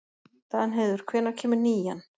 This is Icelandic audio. Danheiður, hvenær kemur nían?